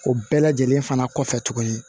O bɛɛ lajɛlen fana kɔfɛ tuguni